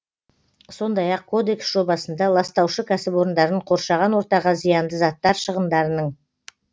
сондай ақ кодекс жобасында ластаушы кәсіпорындарын қоршаған ортаға зиянды заттар шығындарының